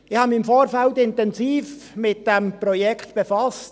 Ich habe mich im Vorfeld intensiv mit diesem Projekt befasst.